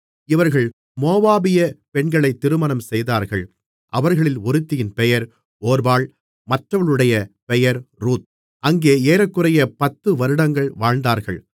இவர்கள் மோவாபியப் பெண்களைத் திருமணம் செய்தார்கள் அவர்களில் ஒருத்தியின் பெயர் ஒர்பாள் மற்றவளுடைய பெயர் ரூத் அங்கே ஏறக்குறைய 10 வருடங்கள் வாழ்ந்தார்கள்